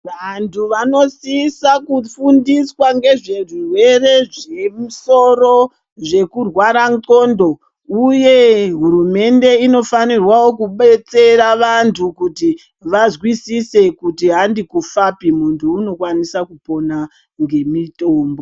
Vantu vanosisa kufundiswa ngezvezvirwere zvemusoro, zvekurwara ndxondo, uye hurumende inofanirwawo kudetsera vantu kuti vazwisise kuti handikufapi, muntu unokwanisa kupona ngemitombo.